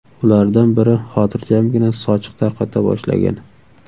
Ulardan biri xotirjamgina sochiq tarqata boshlagan.